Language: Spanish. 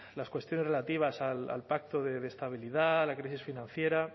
las cuestiones relativas al pacto de estabilidad la crisis financiera